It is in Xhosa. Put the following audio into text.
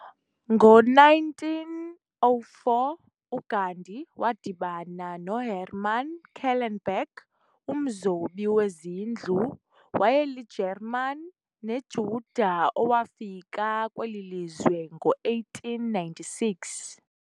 Ngo 1904 uGandhi wadibana noHerman Kallenbach, omzobi wezindlu wayeliGermaan neJuda owafika kwelilizwe ngo 1896.